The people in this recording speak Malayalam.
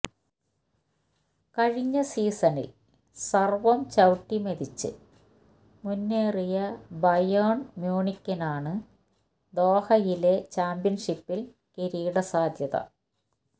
കഴിഞ്ഞ സീസണില് സര്വം ചവിട്ടിമെതിച്ച് മുന്നേറിയ ബയേണ് മ്യൂണിക്കിനാണ് ദോഹയിലെ ചാമ്പ്യന്ഷിപ്പില് കിരീട സാധ്യത